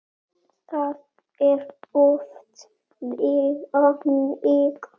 Það er oft þannig.